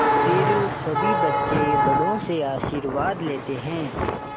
फिर सभी बच्चे बड़ों से आशीर्वाद लेते हैं